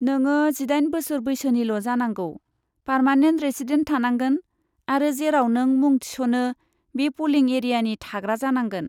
नोङो जिदाइन बोसोर बैसोनिल' जानांगौ, पारमानेन्ट रेसिडेन्स थानांगोन, आरो जेराव नों मुं थिस'नो बे पलिं एरियानि थाग्रा जानांगोन।